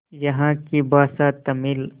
यहाँ की भाषा तमिल